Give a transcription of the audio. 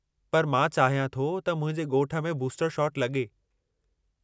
पर मां चाहियां थो त मुंहिंजे ॻोठ में बूस्टर शॉट लॻे।